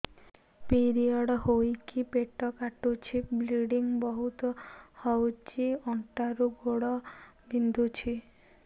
period ହୋଇକି ପେଟ କାଟୁଛି ବ୍ଲିଡ଼ିଙ୍ଗ ବହୁତ ହଉଚି ଅଣ୍ଟା ରୁ ଗୋଡ ବିନ୍ଧୁଛି